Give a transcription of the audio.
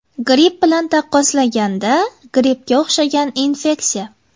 Gripp bilan taqqoslaganda grippga o‘xshagan infeksiya.